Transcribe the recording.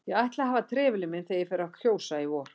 Ég ætla að hafa trefilinn minn þegar ég fer að kjósa í vor